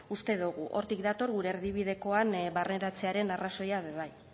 uste dugu hortik dator gure erdibidekoan barneratzearen arrazoia be bai